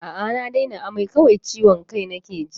A'a na daina amai, kawai ciwon kai nake ji.